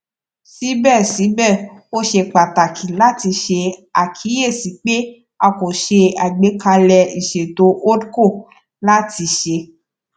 sibẹsibẹ o ṣe pataki lati ṣe akiyesi pe a ko ṣe agbekalẹ iṣeto holdco lati ṣe